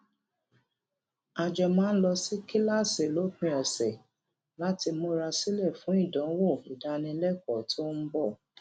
a jọ máa ń lọ sí kíláàsì lópin òsè láti múra sílè fún ìdánwò ìdánilékòó tó ń bò